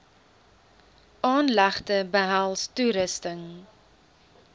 aanlegte behels toerusting